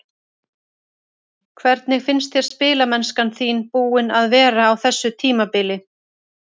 Hvernig finnst þér spilamennskan þín búin að vera á þessu tímabili?